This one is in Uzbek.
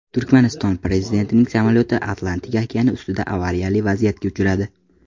Turkmaniston prezidentining samolyoti Atlantika okeani ustida avariyali vaziyatga uchradi.